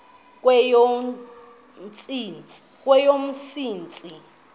kweyomsintsi